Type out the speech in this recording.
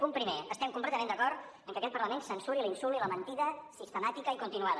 punt primer estem completament d’acord que aquest parlament censuri l’insult i la mentida sistemàtica i continuada